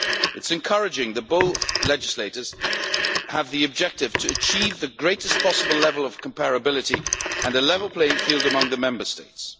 It is encouraging that both legislators have as an objective achieving the greatest possible level of comparability and a level playing field among the Member States.